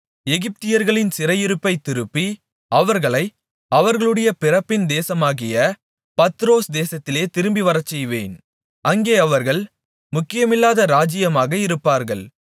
எகிப்தியர்களின் சிறையிருப்பைத் திருப்பி அவர்களை அவர்களுடைய பிறப்பின் தேசமாகிய பத்ரோஸ் தேசத்திலே திரும்பி வரச்செய்வேன் அங்கே அவர்கள் முக்கியமில்லாத ராஜ்ஜியமாக இருப்பார்கள்